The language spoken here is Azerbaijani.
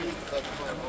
Hə var, var.